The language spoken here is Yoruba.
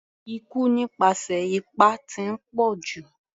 Ikú nípasẹ̀ ipá ti ń pọ̀jù.